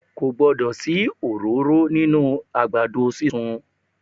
Ko gbọdọ̀ sí òróró nínú àgbàdo sísun.